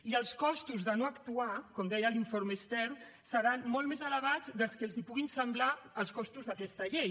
i els costos de no actuar com deia l’informe stern seran molt més elevats del que els puguin semblar els costos d’aquesta llei